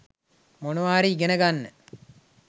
මොනවා හරි ඉගෙන ගන්න